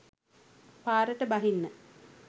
පාරට බහින්න